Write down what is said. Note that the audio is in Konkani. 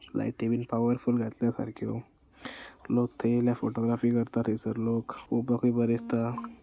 लायटी बीन पावर्फुल घातल्या सारख्यो लोक थय येयल्या फोटोग्राफी करता थयसर लोक पोवपाकुय बरे दिस्ता.